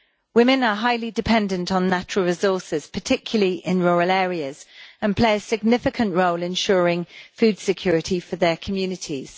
Women are highly dependent on natural resources, particularly in rural areas, and play a significant role ensuring food security for their communities.